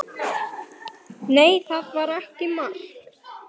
Nei, það var ekki mark.